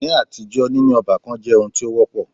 Ní àtijọ́, níní ọ́bàkan jẹ́ oun tí o wọ́pọ̀.